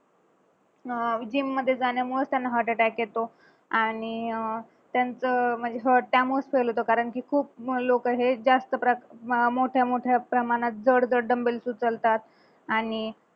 अह gym मध्ये जाण्यामुळेच त्यांना heart attack येतो आणि अह त्यांच म्हणजे heart त्यामुळेच fail कि खूप लोक हे जास्त मोठ्या मोठ्या प्रमाणात जड जड dumbbells उचलतात